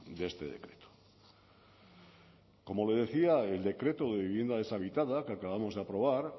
de este decreto como le decía el decreto de vivienda deshabitada que acabamos de aprobar